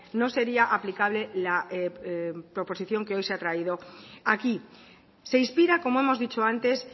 no sería aplicable la proposición que hoy se ha traído aquí se inspira como hemos dicho antes